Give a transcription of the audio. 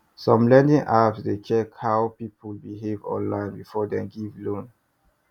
some lending apps dey check how people behave online before dem give loan